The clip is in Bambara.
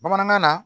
Bamanankan na